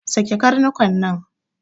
Sake karnuka nan!